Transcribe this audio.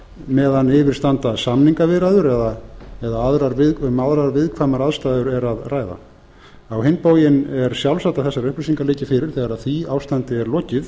meðan yfir standa samningaviðræður eða um aðrar viðkvæmar aðstæður er að ræða á hinn bóginn er sjálfsagt að þessar upplýsingar liggi fyrir þegar því ástandi er lokið